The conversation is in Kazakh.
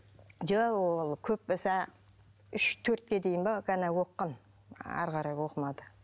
жоқ ол көп болса үш төртке дейін бе ғана оқыған әрі қарай оқымады